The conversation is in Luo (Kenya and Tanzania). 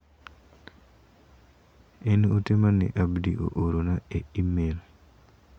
En ote mane Abdi oorona e imel.